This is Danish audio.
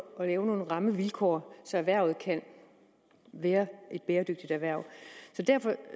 og lave nogle rammevilkår så erhvervet kan være et bæredygtigt erhverv derfor